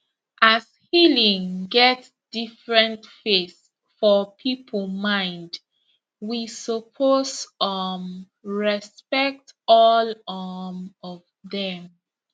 as healing get different face for people mind we suppose um respect all um of dem